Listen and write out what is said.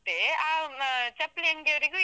ಮತ್ತೆ ಆ ಚಪ್ಲಿ ಅಂಗಡಿಯವರಿಗು ಇದು.